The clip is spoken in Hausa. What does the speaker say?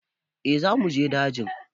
Eh za mu je daji.